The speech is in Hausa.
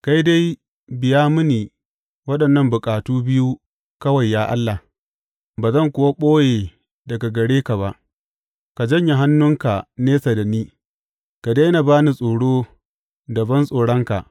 Kai dai biya mini waɗannan bukatu biyu kawai ya Allah, ba zan kuwa ɓoye daga gare ka ba; Ka janye hannunka nesa da ni, ka daina ba ni tsoro da bantsoronka.